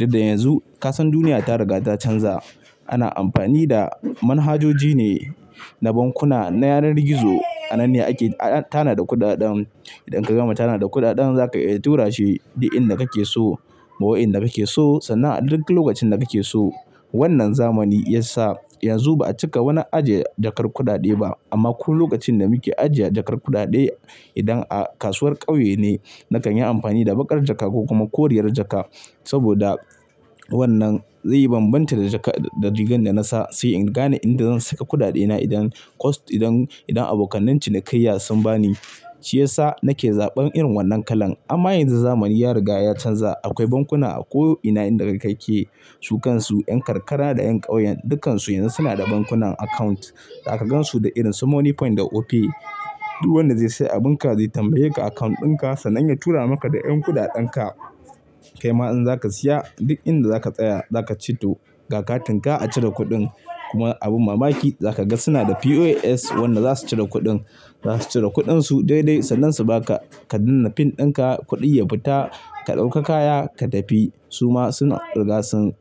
Inda yanzu, kasan duniya ta riga ta canza. Ana amfani da manhajoji ne na bankuna, na yanar gizo. A nan ne ake, a tana da kuɗaɗen. Idan ka gama tana da kuɗaɗen za ka tura shi, duk inda kake so, ma wa inda kake so, sannan a duk lokacin da kake so. Wannan zamani ya sa yanzu ba a cika wani ajiye jakar kuɗaɗe ba. Amma ko lokacin da muke ajiye jakar kuɗaɗe, idan a kasuwar ƙauye ne, na kan yi amfani da baƙar jaka ko kuma koriyar jaka. Saboda wannan zai yi banbanta da jaka da rigar da nasa. Sai in gane inda zan saka kuɗaɗena idan cost, idan, idan abokan cinikayya sun ba ni, shi ya sa nake zaɓan irin wannan kalan. Amma yanzu zamani ya riga ya canza. Akwai bankuna a ko ina inda kake. Su kansu, yan karkara da yan ƙauyen, dukkansu yanzu suna da bankunan account. Za ka gansu da irin su Moniepoint da Opay. Duk wanda zai sayi abin ka zai tambaye ka account ɗinka sannan ya tura maka da yan kuɗaɗan ka. Kai ma in za ka siya, duk inda za ka tsaya, za ka ceto ga katin ka a cire kuɗin. Kuma abin mamaki, za ka ga suna da POS wanda za su cire kuɗin. Za su cire kuɗin su daidai, sanin su ba ka. Ka daina pin ɗinka, kuɗin ya fita, ka ɗauka kaya ka tafi. Su ma suna rigarsan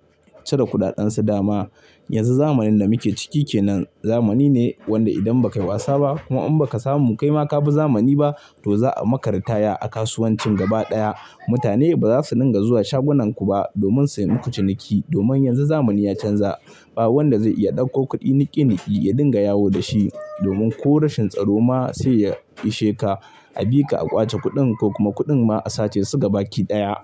cire kuɗaɗan su dama. Yanzu zamanin da muke ciki kenan, zamani ne wanda idan ba ka yi wasa ba kuma in ba ka samu mu kai ma ka bi zamani ba, to za a maka ritaya a kasuwancin gaba ɗaya. Mutane ba za su dinga zuwa shagunan ku ba, domin su yi muku ciniki. Domin yanzu zamani ya canza. Ba wanda zai iya ɗauko kuɗi niƙe niƙi, ya dinga yawo da shi. Domin ko rashin tsaro ma sai iya ishe ka. A bi ka a ƙwace kuɗin ko kuma kuɗin ma a sace su gaba ki ɗaya.